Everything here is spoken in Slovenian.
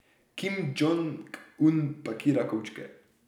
Kim Džong Un pakira kovčke.